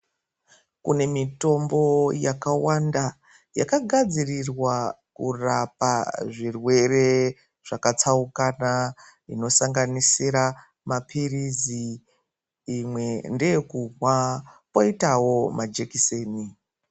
Kune mitombo yakawanda yakagadzirirwa kurapa zvirwere zvakatsaukana zvinosanganisira mapirizi imwe ndeyekumwa koitawo majekiseni.